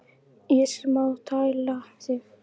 Ég sem á að tæla þig.